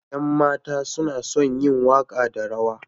Ƴan mata suna son yin waƙa da rawa.